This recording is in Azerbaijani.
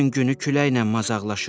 Bütün günü küləklə mazaglaşır.